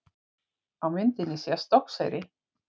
Á myndinni sést Stokkseyri.